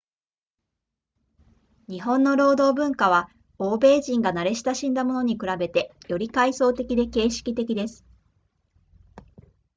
日本の労働文化は欧米人が慣れ親しんだものに比べてより階層的で形式的です